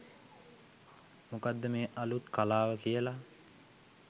මොකක්ද මේ අලුත් කලාව කියලා.